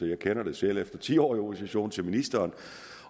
jeg kender det selv efter ti år i opposition til ministeren